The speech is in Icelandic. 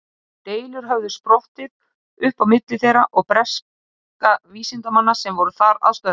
Deilur höfðu sprottið upp á milli þeirra og breskra vísindamanna sem voru þar að störfum.